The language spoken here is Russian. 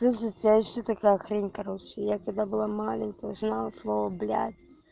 слушайте а ещё такая хрень короче я когда была маленькая я узнала слово блядь